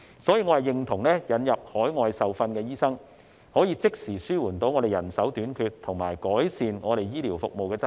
所以，我認同引入海外受訓的醫生，可以即時紓緩人手短缺和改善醫療服務的質素。